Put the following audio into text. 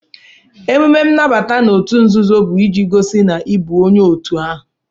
Emume nnabata n'òtù nzuzo bu iji gosi na ị bụ onye òtù ahụ